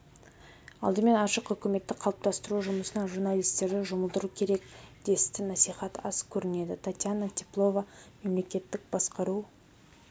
алдымен ашық үкімметті қалыптастыру жұмысына журналистерді жұмылдыру керек десті насихат аз көрінеді татьяна теплова мемлекеттік басқару